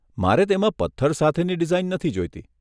મારે તેમાં પથ્થર સાથેની ડીઝાઈન નથી જોઈતી.